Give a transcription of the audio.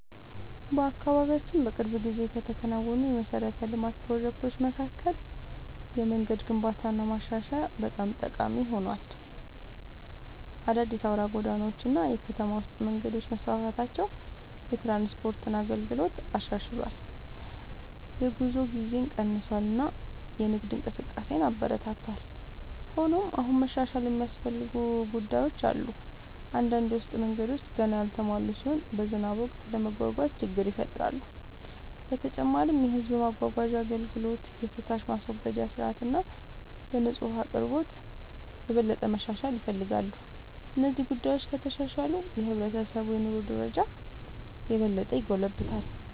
በአካባቢያችን በቅርብ ጊዜ ከተከናወኑ የመሠረተ ልማት ፕሮጀክቶች መካከል የመንገድ ግንባታና ማሻሻያ በጣም ጠቃሚ ሆኗል። አዳዲስ አውራ ጎዳናዎች እና የከተማ ውስጥ መንገዶች መስፋፋታቸው የትራንስፖርት አገልግሎትን አሻሽሏል፣ የጉዞ ጊዜን ቀንሷል እና የንግድ እንቅስቃሴን አበረታቷል። ሆኖም አሁንም መሻሻል የሚያስፈልጉ ጉዳዮች አሉ። አንዳንድ የውስጥ መንገዶች ገና ያልተሟሉ ሲሆኑ በዝናብ ወቅት ለመጓጓዝ ችግር ይፈጥራሉ። በተጨማሪም የሕዝብ ማጓጓዣ አገልግሎት፣ የፍሳሽ ማስወገጃ ሥርዓት እና የንጹህ ውኃ አቅርቦት የበለጠ መሻሻል ይፈልጋሉ። እነዚህ ጉዳዮች ከተሻሻሉ የሕብረተሰቡ የኑሮ ደረጃ የበለጠ ይጎለብታል።